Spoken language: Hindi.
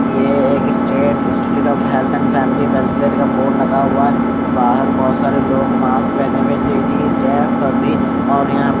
ये एक state institute of health and family welfare का बोर्ड लगा हुआ है बाहर बहुत सारे लोग मास्क पहने हुए लेडीज जेंट्स सभी और यहाँ --